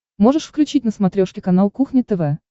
можешь включить на смотрешке канал кухня тв